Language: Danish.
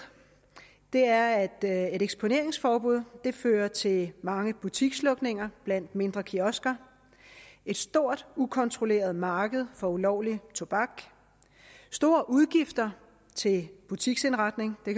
det er at et eksponeringsforbud fører til mange butikslukninger blandt mindre kiosker et stort ukontrolleret marked for ulovlig tobak store udgifter til butiksindretning og det